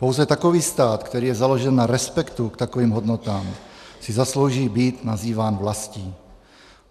Pouze takový stát, který je založen na respektu k takovým hodnotám, si zaslouží být nazýván vlastí.